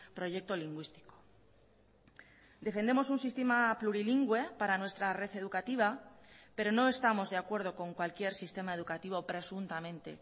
proyecto lingüístico defendemos un sistema plurilingüe para nuestra red educativa pero no estamos de acuerdo con cualquier sistema educativo presuntamente